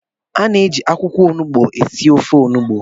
A na-eji akwụkwọ onugbu esi ofe Onugbu